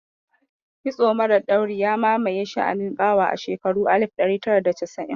Kitso mara ɗauri ya mamaye sha'anin ƙawa a shekurun alif ɗari tara da casa'in